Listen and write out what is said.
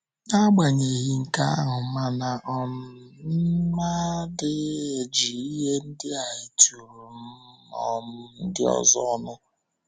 N’agbanyeghị nke ahụ, mana um m adịghị eji ihe ndị a eturu um ndị ọzọ ọnụ. um